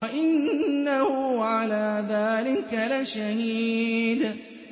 وَإِنَّهُ عَلَىٰ ذَٰلِكَ لَشَهِيدٌ